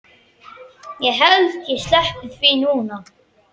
Ég held ég sleppi því núna.